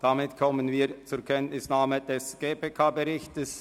– Damit kommen wir zur Kenntnisnahme des GPK-Berichts.